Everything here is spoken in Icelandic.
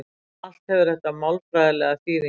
Allt hefur þetta málfræðilega þýðingu.